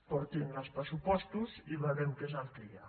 portin els pressupostos i veurem que és el que hi ha